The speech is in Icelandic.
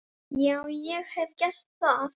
Já, ég hef gert það.